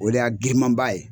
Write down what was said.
O de y'a girinmanba ye.